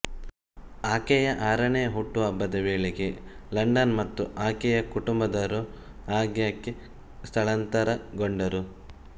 ಆಕೆಯ ಆರನೇ ಹುಟ್ಟುಹಬ್ಬದ ವೇಳೆಗೆ ಲಂಡನ್ ಮತ್ತು ಆಕೆಯ ಕುಟುಂಬದವರು ಆಗಾಗ್ಗೆ ಸ್ಥಳಾಂತರಗೊಂಡರು